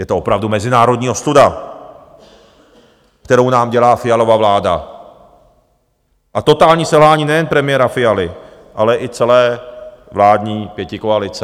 Je to opravdu mezinárodní ostuda, kterou nám dělá Fialova vláda, a totální selhání nejen premiéra Fialy, ale i celé vládní pětikoalice.